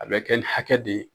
A bɛ kɛ ni hakɛ de ye.